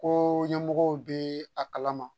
Ko ɲɛmɔgɔw be a kalama